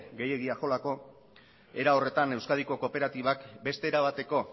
gehiegi axolako era horretan euskadiko kooperatibak beste era bateko